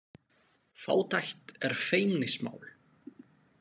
Fátækt er feimnismál